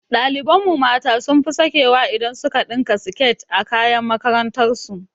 Ɗaliban mu mata sun fi sakewa idan su ka ɗinka siket a kayan makarantar su